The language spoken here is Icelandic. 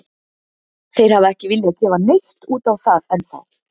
Þeir hafa ekki viljað gefa neitt út á það ennþá.